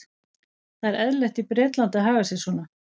Það er eðlilegt í Bretlandi að haga sér svona.